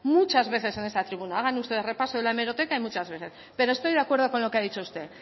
muchas veces en esta tribuna hagan ustedes repaso de la hemeroteca muchas veces pero estoy de acuerdo con lo que ha dicho usted